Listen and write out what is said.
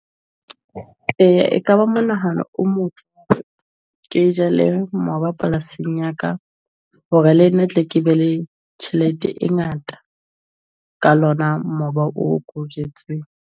Eh ekaba mo nahano o motle, ke jale mmoba polasing ya ka hore le nna tle ke be le tjhelete e ngata ka lona mmoba o ko jwetse .